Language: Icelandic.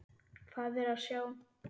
Hvað er að sjá